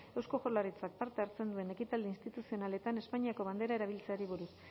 eusko jaurlaritzak parte hartzen duen ekitaldi instituzionaletan espainiako bandera erabiltzeari buruz